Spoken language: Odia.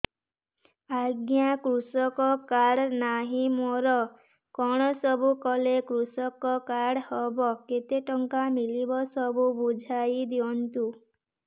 ଆଜ୍ଞା କୃଷକ କାର୍ଡ ନାହିଁ ମୋର କଣ ସବୁ କଲେ କୃଷକ କାର୍ଡ ହବ କେତେ ଟଙ୍କା ମିଳିବ ସବୁ ବୁଝାଇଦିଅନ୍ତୁ